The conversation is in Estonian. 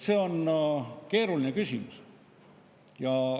See on keeruline küsimus.